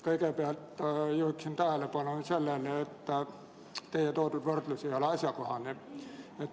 Kõigepealt juhin tähelepanu sellele, et teie toodud võrdlus ei ole asjakohane.